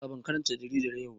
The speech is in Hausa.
A a ban karanta jaridar yau ba.